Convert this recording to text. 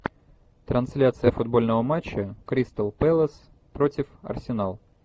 трансляция футбольного матча кристал пэлас против арсенал